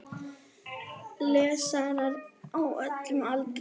Lesarar á öllum aldri.